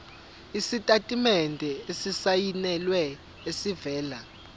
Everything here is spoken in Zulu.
isitatimende esisayinelwe esivela